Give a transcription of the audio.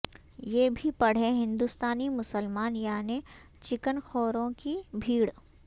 یہ بھی پڑھیں ہندستانی مسلمان یعنی چکن خوروں کی بھیڑ